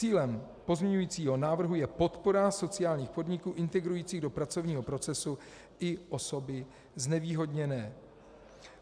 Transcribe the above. Cílem pozměňujícího návrhu je podpora sociálních podniků integrujících do pracovního procesu i osoby znevýhodněné.